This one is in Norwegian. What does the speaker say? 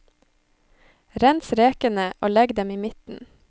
Rens rekene og legg dem i midten.